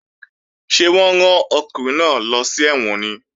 Ṣé wọ́n rán ọkùnrin náà lọ sí ẹ̀wọ̀n ni?